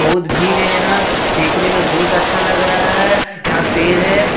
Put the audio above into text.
बहुत भीड़ है यहाँ देखने में बहुत अच्छा लग रहा है यहाँ पेड़ है --